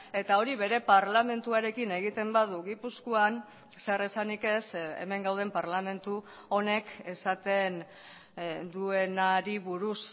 eta hori bere parlamentuarekin egiten badu gipuzkoan zer esanik ez hemen gauden parlamentu honek esaten duenari buruz